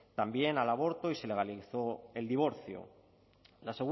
también al aborto y se legalizó el divorcio la